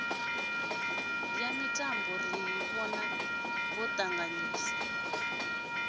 ya mitambo ri ḓo ṱavhanyisa